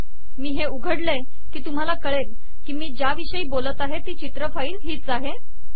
मी हे उघडले की तुम्हाला कळेल की मी ज्या विषयी बोलत आहे ती चित्र फाईल हीच आहे